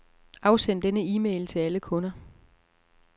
Afsend denne e-mail til alle kunder.